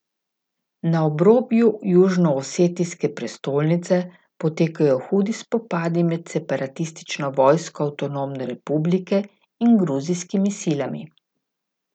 Na obrobju južnoosetijske prestolnice potekajo hudi spopadi med separatistično vojsko avtonomne republike in gruzijskimi silami.